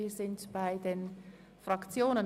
Wir kommen zu den Fraktionsvoten.